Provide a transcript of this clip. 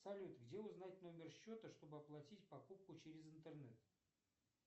салют где узнать номер счета чтобы оплатить покупку через интернет